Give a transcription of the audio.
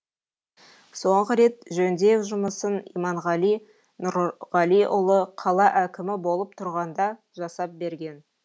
соңғы рет жөндеу жұмысын иманғали нұрғалиұлы қала әкімі болып тұрғанда жасап берген